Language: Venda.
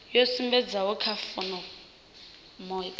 yo sumbedzwaho kha fomo phanda